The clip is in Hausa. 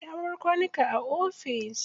Ya bar kwanuka a ofis.